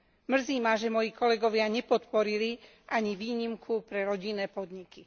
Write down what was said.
Mrzí ma, že moji kolegovia nepodporili ani výnimku pre rodinné podniky.